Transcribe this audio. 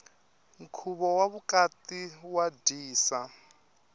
nkhuvo wa vukati wa dyisa